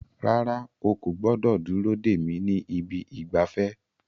Rárá, o kò gbọdọ̀ dúró dè mí ní ibi ìgbafẹ́.